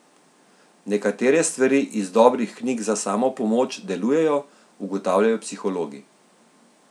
Nekatere stvari iz dobrih knjig za samopomoč delujejo, ugotavljajo psihologi.